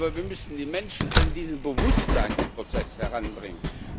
Aber wir müssen die Menschen an diesen Bewusstseinsprozess heranbringen.